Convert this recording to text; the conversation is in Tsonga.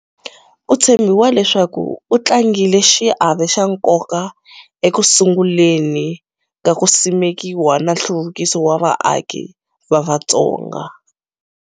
Ku tshembiwa leswaku u tlangile xiave xa nkoka eku sunguleni ka ku simekiwa na nhluvukiso wa vaaki va Vatsonga.